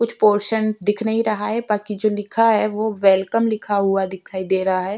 कुछ पोर्शन दिख नहीं रहा है बाकी जो लिखा है वो वेलकम लिखा हुआ दिखाई दे रहा है।